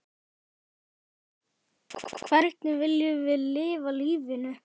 Hvernig viljum við lifa lífinu?